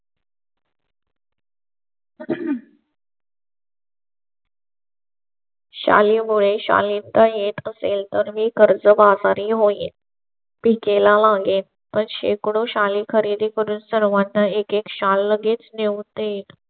शाली मुळे शालीनता येत असेल तर मी कर्जबाजारी होईल. पीके ला मागे पण शेकडो शाली खरेदी करून सर्वांना एकेक शाल लगेच नेऊन देईल.